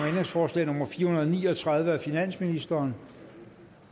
ændringsforslag nummer fire hundrede og ni og tredive af finansministeren